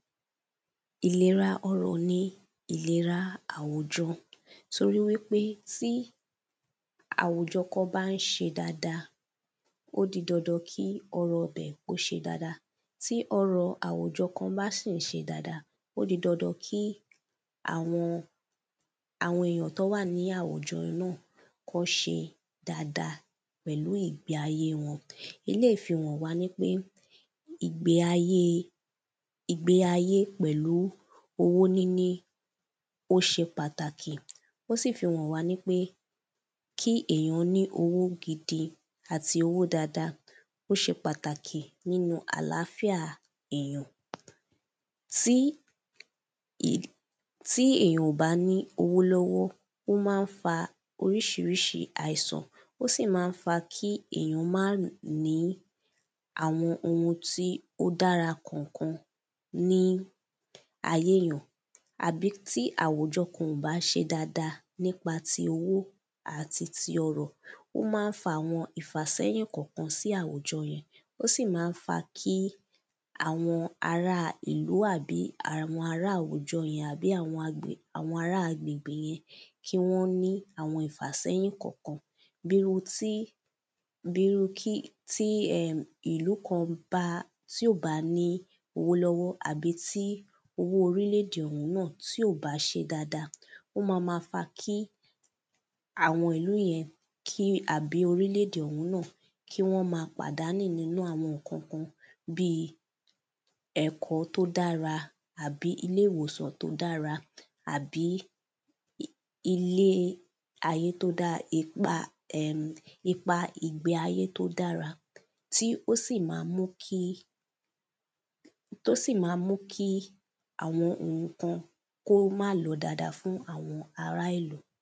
Ìlera ọrọ̀ ni ìlera àwùjọ toríwípé tí àwùjọ kan bá ń ṣe dáada ó di dandan kí ọrọ̀ ibẹ̀ kó ṣe dáada. Tí ọrọ̀ àwùjọ kan bá sì ń ṣe dáada ó di dandan kí àwọn àwọn èyàn tán wà ní àwùjọ yẹn náà kán ṣe dáada pẹ̀lú ìgbé ayé wọn. Eléèyí fi hàn wá nípé ìgbé ayé ìgbé ayé pẹ̀lú owó níní ó ṣe pàtàkì ó sì fi hàn wá nípé kí èyàn ní owo gidi àti owó dáada ó ṣe pàtàkì nínú àláfíà èyàn. Tí tí èyàn ò bá ní owó lọ́wọ́ ó má ń fa oríṣiríṣi àìsàn ó sì má ń fa kí èyàn má ní àwọn ohun tí ó dára kọ̀kan ní ayé èyàn àbí tí àwùjọ kan ò bá ṣe dáada nípa ti owó àti ti ọrọ̀ ó má ń fa àwọn ìfásẹ́yìn kọ̀kan sí àwùjọ yẹn ó sì má ń kí àwọn ará ìlú àbí àwọn ará àwùjọ yẹn àbí àwọn ará agbègbè yẹn kí wọ́n ní àwọn ìfàsẹ́yìn kọ̀kan bí irú tí bí irú kí tí um ìlú kan bá tí ò bá ní owó lọ́wọ́ àbí tí owó orílè èdè ọ̀hún tí ò bá ṣe dáada ó má má fa kí àwọn ìlú yẹn kí àbí orílè èdè ọ̀hún náà kí wọ́n má pàdánù nínú àwọn nǹkan kan bí ẹ̀kọ́ tó dára àbí ilé ìwòsàn tó dára àbí ilé ayé tó dára ipa um ipa um ìgbé ayé tó dára tí ó sì má mú kí tó sì má mú kí àwọn ohun kan kó má lọ dáada fún àwọn ará ìlú.